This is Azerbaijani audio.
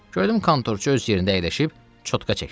Gördüm kontorçu öz yerində əyləşib çotka çəkir.